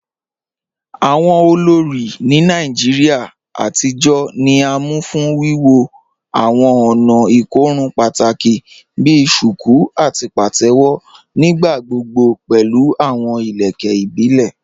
Awọn olórí ni Nàìjíríà àtijọ ni à mú fún wíwọ́ awọn ònà ikòrùn pátákì bí "shuku" àti "pàtẹwo," nígbàgbọ̀gbọ̀ pẹ̀lú awọn ilẹ̀kẹ̀ ìbílẹ̀.